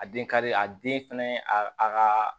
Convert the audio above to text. A den kari a den fɛnɛ a kaaa